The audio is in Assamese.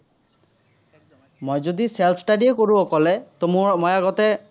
self-study য়েই কৰোঁ অকলে, তো মোৰ, মই আগতে।